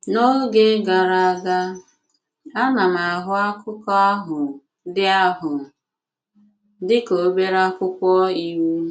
N’ógè gara aga, a na m ahụ̀ akụkọ̀ ahụ̀ dị ahụ̀ dị ka obere akwụkwọ iwu.